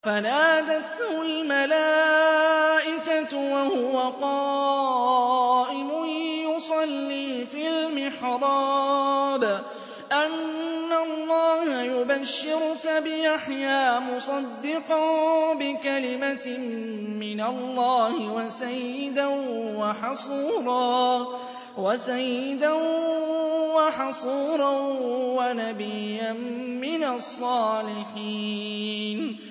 فَنَادَتْهُ الْمَلَائِكَةُ وَهُوَ قَائِمٌ يُصَلِّي فِي الْمِحْرَابِ أَنَّ اللَّهَ يُبَشِّرُكَ بِيَحْيَىٰ مُصَدِّقًا بِكَلِمَةٍ مِّنَ اللَّهِ وَسَيِّدًا وَحَصُورًا وَنَبِيًّا مِّنَ الصَّالِحِينَ